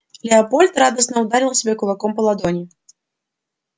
лепольд радостно ударил себе кулаком по ладони